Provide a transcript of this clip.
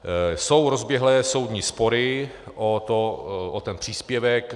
Jsou rozběhlé soudní spory o ten příspěvek.